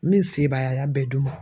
Min se b'a ye a y'a bɛɛ du n ma.